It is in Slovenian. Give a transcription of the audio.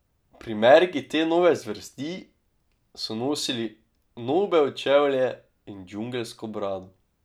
Primerki te nove zvrsti so nosili nobel čevlje in džungelsko brado.